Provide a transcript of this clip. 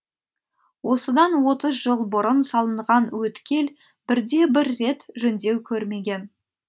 осыдан отыз жыл бұрын салынған өткел бірде бір рет жөндеу көрмеген